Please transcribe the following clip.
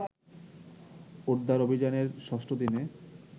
উদ্ধার অভিযানের ৬ষ্ঠ দিনে